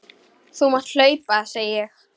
Þú mátt hlaupa, segi ég.